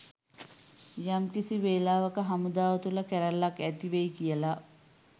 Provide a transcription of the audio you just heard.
යම්කිසි වෙලාවක හමුදාව තුළ කැරැල්ලක් ඇතිවෙයි කියලා